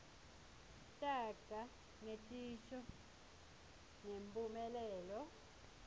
taga netisho ngemphumelelo